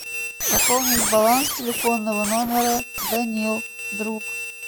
пополнить баланс телефонного номера данил друг